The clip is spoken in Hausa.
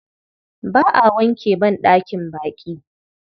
Ba a wanke banɗakin baƙi.